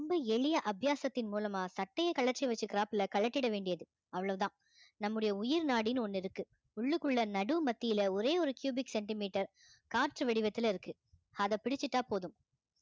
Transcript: ரொம்ப எளிய அத்தியாசத்தின் மூலமா சட்டையை கழற்றி வச்சுக்குறாப்புல கழட்டிட வேண்டியது அவ்வளவுதான் நம்முடைய உயிர் நாடின்னு ஒண்ணு இருக்கு உள்ளுக்குள்ள நடு மத்தியில ஒரே ஒரு cubic centimeter காற்று வடிவத்துல இருக்கு அதை பிடிச்சிட்டா போதும்